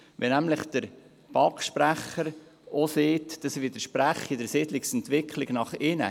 Der Sprecher der BaK hat gesagt, das widerspreche der Siedlungsentwicklung nach innen.